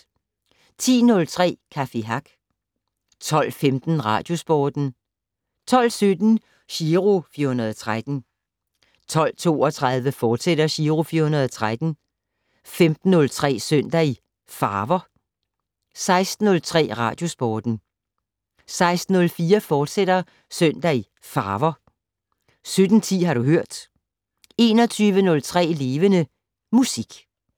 10:03: Café Hack 12:15: Radiosporten 12:17: Giro 413 12:32: Giro 413, fortsat 15:03: Søndag i Farver 16:03: Radiosporten 16:04: Søndag i Farver, fortsat 17:10: Har du hørt 21:03: Levende Musik